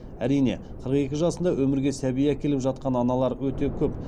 әрине қырық екі жасында өмірге сәби әкеліп жатқан аналар өте көп